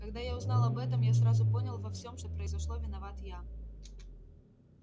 когда я узнал об этом я сразу понял во всём что произошло виноват я